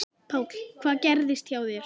Páll: Hvað gerðist hjá þér?